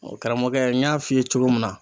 karamɔgɔkɛ n y'a f'i ye cogo min na.